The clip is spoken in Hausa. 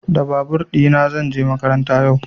Da babur ɗina zan je makaranta yau.